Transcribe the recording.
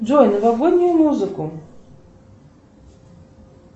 джой новогоднюю музыку